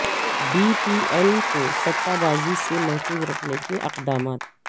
be پی ایل کو سٹہ بازی سے محفوظ رکھنے کے اقدامات